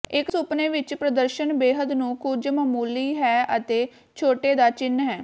ਇਕ ਸੁਪਨੇ ਵਿਚ ਪ੍ਰਦਰਸ਼ਨ ਬੇਹੱਦ ਨੂੰ ਕੁਝ ਮਾਮੂਲੀ ਹੈ ਅਤੇ ਛੋਟੇ ਦਾ ਚਿੰਨ੍ਹ ਹੈ